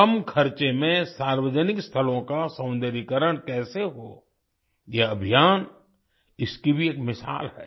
कम खर्चे में सार्वजनिक स्थलों का सौंदर्यीकरण कैसे हो यह अभियान इसकी भी एक मिसाल है